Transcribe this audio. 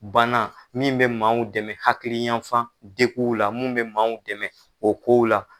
Bana min bɛ maaw dɛmɛ hakiliyafan degunw na min bɛ maaw dɛmɛ o kow la